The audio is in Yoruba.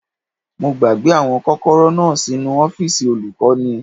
Mo gbàgbé àwọn kọ́kọ́rọ́ náà sínu ọ́fìsì olùkọ́ni